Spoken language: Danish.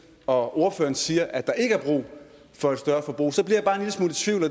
og ordføreren siger at der ikke er brug for et større forbrug